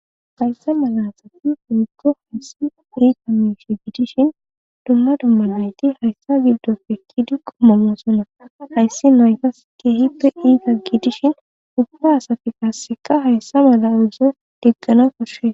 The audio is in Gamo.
Hayssa mala asati iikko hayssi ika mishe giidishin dumma dummanayti hayssa gildofe kidi qommamoosonna hayssi naykas kehippe iiga giidishin upfa asafi qaasseka hayssa mala uzzo diggana koshshee.